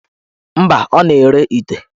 Mba, ọ na-ere ite.